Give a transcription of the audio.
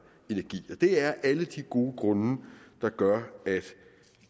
energi det er alle de gode grunde der gør at